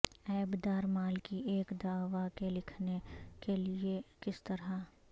عیب دار مال کی ایک دعوی کے لکھنے کے لئے کس طرح